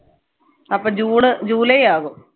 അപ്പൊ july ആകും